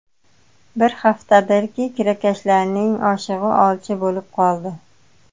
Bir haftadirki, kirakashlarning oshig‘i olcha bo‘lib qoldi.